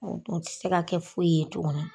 N'o tɛ u ti se ka kɛ foyi ye tuguni